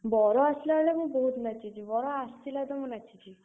ବର ଆସିଲା ବେଳେ ମୁଁ ବହୁତ୍ ନାଚିଛି, ବର ଆସିଲା ତ ମୁଁ ନାଚିଛି।